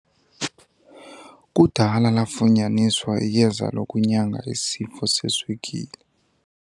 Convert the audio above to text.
Kudala lafunyaniswa iyeza lokunyanga isifo seswekile.